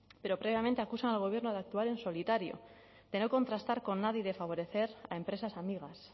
pero previamente acusan al gobierno de actuar en solitario de no contrastar con nadie y de favorecer a empresas amigas